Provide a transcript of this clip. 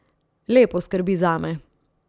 Lepo skrbi zame.